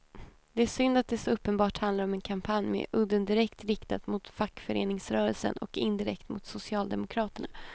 Det är synd att det så uppenbart handlar om en kampanj med udden direkt riktad mot fackföreningsrörelsen och indirekt mot socialdemokraterna.